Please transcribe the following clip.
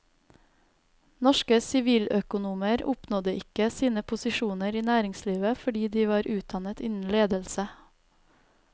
Norske siviløkonomer oppnådde ikke sine posisjoner i næringslivet fordi de var utdannet innen ledelse.